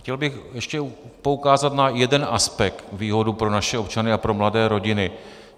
Chtěl bych ještě poukázat na jeden aspekt, výhodu pro naše občany a pro mladé rodiny.